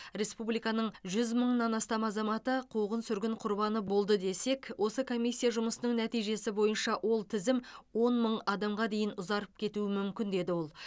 республиканың жүз мыңнан астам азаматы қуғын сүргін құрбаны болды десек осы комиссия жұмысының нәтижесі бойынша ол тізім он мың адамға дейін ұзарып кетуі мүмкін деді ол